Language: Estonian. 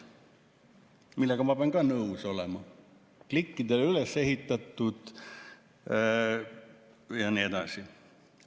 ma pean ka nõus olema: klikkidele üles ehitatud ja nii edasi.